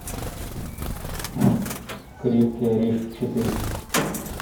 крепкий орешек четыре